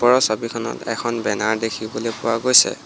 ওপৰৰ ছবিখনত এখন বেনাৰ দেখিবলৈ পোৱা গৈছে।